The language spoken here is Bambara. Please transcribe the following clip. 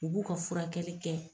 U b'u ka furakɛli kɛ.